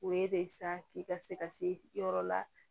O ye de sa k'i ka se ka se yɔrɔ la